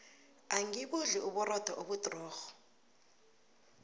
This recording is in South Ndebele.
angibudli uburotho obudrorho